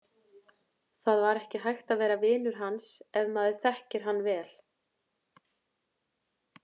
Það var ekki hægt að vera vinur hans ef maður þekkir hann vel.